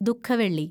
ദു:ഖ വെള്ളി